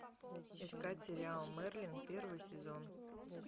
искать сериал мерлин первый сезон